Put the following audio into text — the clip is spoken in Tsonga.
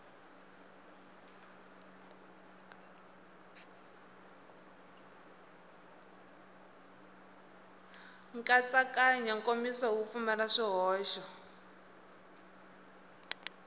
nkatsakanyo nkomiso wu pfumala swihoxo